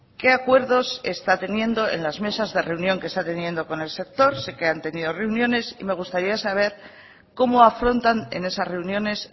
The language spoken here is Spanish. qué acuerdos está teniendo en las mesas de reunión que está teniendo con el sector sé que han tenido reuniones y me gustaría saber cómo afrontan en esas reuniones